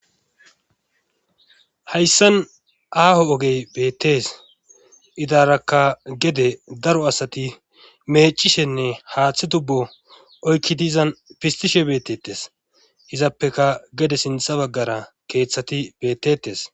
Hayssan aaho ogey beettes .Idarakka gede daro asati meecishenne haaththi tubbo oykki diizan pistishe beettetes. Izappeka gede sintha baggara keeththati bettetes.